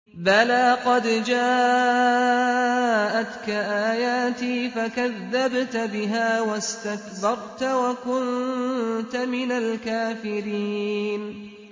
بَلَىٰ قَدْ جَاءَتْكَ آيَاتِي فَكَذَّبْتَ بِهَا وَاسْتَكْبَرْتَ وَكُنتَ مِنَ الْكَافِرِينَ